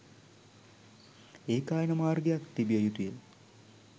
ඒකායන මාර්ගයක් තිබිය යුතුය